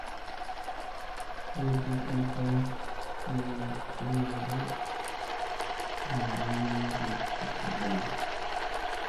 ore enterit naifaa bneun inkwshen olkokoyok te nguton, napir o enaibunga